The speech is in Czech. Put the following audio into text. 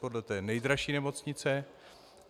Podle té nejdražší nemocnice?